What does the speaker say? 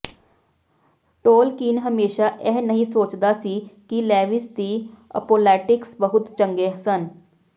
Tolkien ਹਮੇਸ਼ਾ ਇਹ ਨਹੀਂ ਸੋਚਦਾ ਸੀ ਕਿ ਲੇਵਿਸ ਦੀ ਅਪੌਲੋਲੇਟਿਕਸ ਬਹੁਤ ਚੰਗੇ ਸਨ